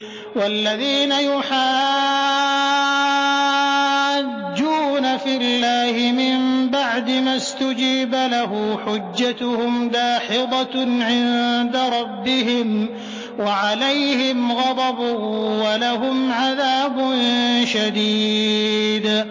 وَالَّذِينَ يُحَاجُّونَ فِي اللَّهِ مِن بَعْدِ مَا اسْتُجِيبَ لَهُ حُجَّتُهُمْ دَاحِضَةٌ عِندَ رَبِّهِمْ وَعَلَيْهِمْ غَضَبٌ وَلَهُمْ عَذَابٌ شَدِيدٌ